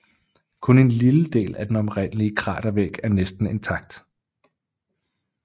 Kun en lille del af den oprindelige kratervæg er næsten intakt